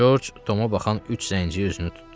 Corc Toma baxan üç zənciri özünü tutdu.